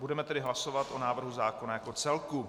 Budeme tedy hlasovat o návrhu zákona jako celku.